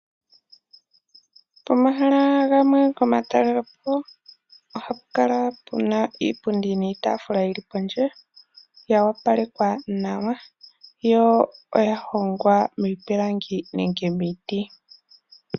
Pomahala gamwe goma talelepo ohapu kala pu na iipundi niitaafula yi li pondje yo opalekwa nawa yo oya hongwa miipilangi nenge miiti.